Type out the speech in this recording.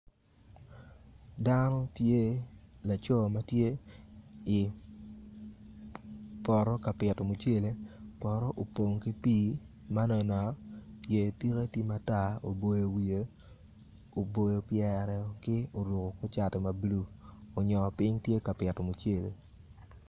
Dano tye laco ma tye i poto ka pito mucele, poto opong ki pii yer tike tye ma tar oboyo wiye woko oboyo pyere ka oruko kor cati ma bulu.